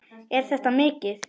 Er þetta mikið?